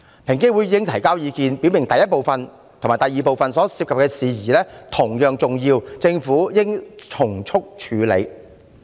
平機會已提交意見，表明第一部分和第二部分所涉及的事宜同樣重要，政府應從速處理。